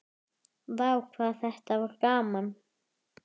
Vá hvað þetta var gaman!!